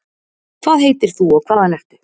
hvað heitir þú og hvaðan ertu?